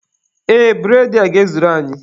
Ee, bụredị a ga-ezuru anyị.